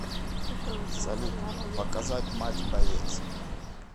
салют показать матч боец